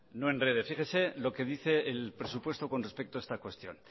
no en enrede fíjese lo que dice el presupuesto con respecto a esta cuestión